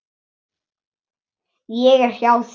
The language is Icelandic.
Ég er hjá þér.